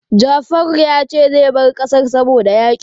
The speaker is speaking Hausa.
Jafaru ya ce zai bar ƙasar saboda yaƙi.